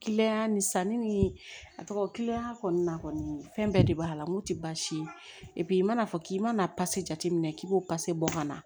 ni sanni a tɔgɔ kɔni fɛn bɛɛ de b'a la n'o tɛ baasi ye i mana fɔ k'i mana pase jate minɛ k'i b'o pase bɔ ka na